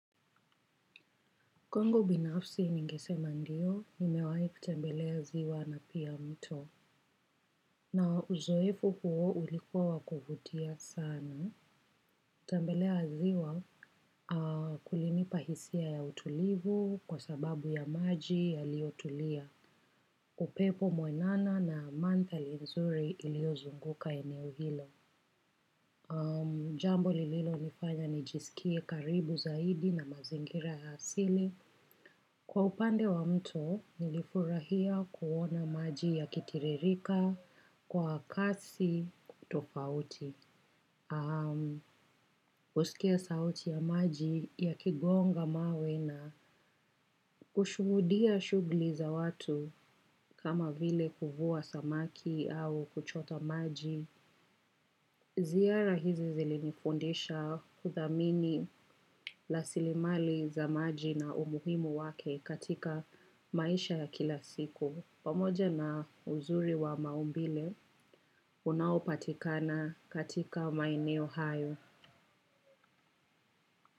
Kwangu binafsi ningesema ndio, nimewahi kutembelea ziwa na pia mto. Na uzoefu huo ulikuwa wa kuvutia sana. Tembelea ziwa kulinipa hisia ya utulivu kwa sababu ya maji yaliyotulia. Upepo mwanana na mandhari nzuri iliyozunguka eneo hilo. Jambo lililonifanya nijisikie karibu zaidi na mazingira ya asili. Kwa upande wa mto, nilifurahia kuona maji ya kitiririka, kwa kasi, tofauti, kusikia sauti ya maji ya kigonga mawe na kushuhudia shughuli za watu kama vile kuvua samaki au kuchota maji. Ziara hizi zilinifundisha kuthamini rasilimali za maji na umuhimu wake katika maisha ya kila siku. Pamoja na uzuri wa maumbile, unaupatikana katika maeneo hayo.